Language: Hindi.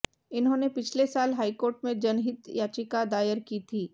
इन्होंने पिछले साल हाईकोर्ट में जनहित याचिका दायर की थी